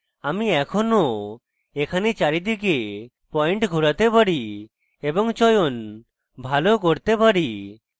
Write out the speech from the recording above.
আমি এখনও এখানে চারিদিকে পয়েন্ট ঘোরাতে পারি এবং চয়ন ভালো করতে পারি